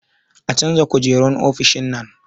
A canza kujerun ofishin nan